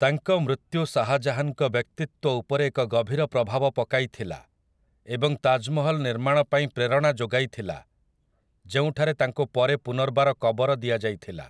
ତାଙ୍କ ମୃତ୍ୟୁ ଶାହା ଜାହାନ୍‌ଙ୍କ ବ୍ୟକ୍ତିତ୍ୱ ଉପରେ ଏକ ଗଭୀର ପ୍ରଭାବ ପକାଇଥିଲା ଏବଂ ତାଜ୍‌ମହଲ୍ ନିର୍ମାଣ ପାଇଁ ପ୍ରେରଣା ଯୋଗାଇଥିଲା, ଯେଉଁଠାରେ ତାଙ୍କୁ ପରେ ପୁନର୍ବାର କବର ଦିଆଯାଇଥିଲା ।